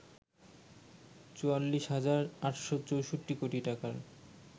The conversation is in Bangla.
৪৪ হাজার ৮৬৪ কোটি টাকার